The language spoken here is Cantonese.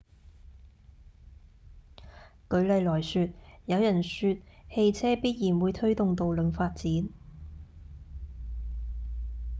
舉例來說有人說汽車必然會推動道路發展